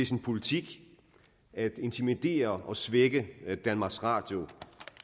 sin politik at intimidere og svække danmarks radio